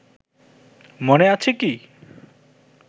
মনে আছে কি